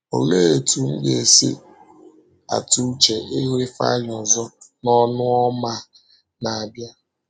“Olee otú m ga-esi atụ uche ịhụ Ifeanyi ọzọ n’Ọnụ Ọma na-abịa!”